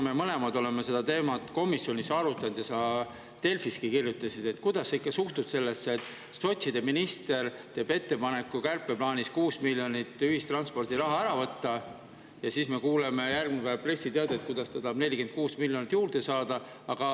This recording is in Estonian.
Me mõlemad oleme seda teemat komisjonis arutanud ja sa Delfiski kirjutasid, kuidas sa suhtud sellesse, et sotside minister teeb kärpeplaanis ettepaneku 6 miljonit ühistranspordilt ära võtta ja siis me kuuleme järgmine päev pressiteadet, kuidas ta tahab 46 miljonit juurde saada.